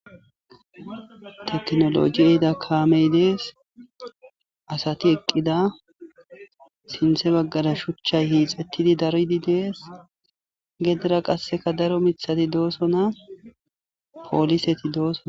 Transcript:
Tekinolojy ehida kamey dees asati eqida sinitha bagara shuchay daridi hixetidi dees gedra qas daro mithati dees poliseti do'sona